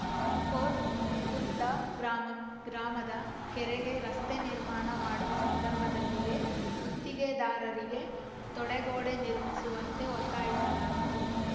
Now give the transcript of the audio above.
coat Ukkunda ಗ್ರಾಮದ ಕೆರೆಗೆ ರಸ್ತೆ ನಿರ್ಮಾಣ ಮಾಡುವ ಸಂದರ್ಭದಲ್ಲಿಯೇ ಗುತ್ತಿಗೆದಾರರಿಗೆ ತಡೆಗೋಡೆ ನಿರ್ಮಿಸುವಂತೆ ಒತ್ತಾಯಿಸಲಾಗಿತ್ತು